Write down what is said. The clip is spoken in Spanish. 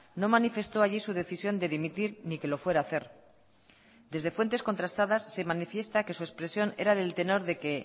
no manifestó allí su decisión de dimitir ni que lo fuera hacer desde fuentes contrastadas se manifiesta que su expresión era del tenor de que